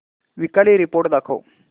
weekly report दाखव